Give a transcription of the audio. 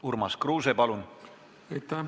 Urmas Kruuse, palun!